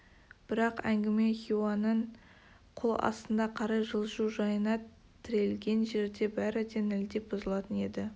бірақ әңгіме хиуаның қол астына қарай жылжу жайына тірелген жерде бәрі де нілдей бұзылатын еді